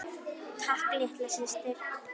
Takk litla systir.